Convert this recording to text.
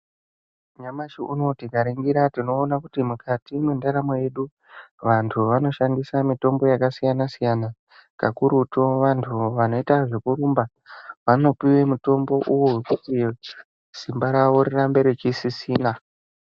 Nyamashi unou tikaningira tinoona kuti mukati mendaramo yedu vanhu vanoishandisa mitombo yakasiyana -siyana kakurutu vantu vanoita zvekurumba vanopuwa mutombo uwo wokuti simba ravo rirambe reisisina .